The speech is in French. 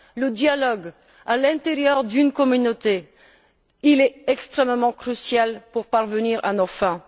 Le dialogue à l'intérieur d'une communauté est extrêmement crucial pour parvenir à nos fins.